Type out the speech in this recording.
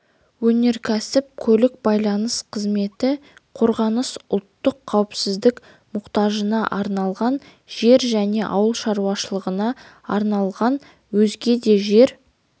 өнеркәсіп көлік байланыс қызметі қорғаныс ұлттық қауіпсіздік мұқтажына арналған жер және ауыл шаруашылығына арналмаған өзге де жер